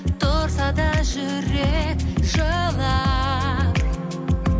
тұрса да жүрек жылап